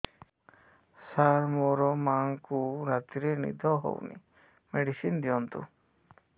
ସାର ମୋର ମାଆଙ୍କୁ ରାତିରେ ନିଦ ହଉନି ମେଡିସିନ ଦିଅନ୍ତୁ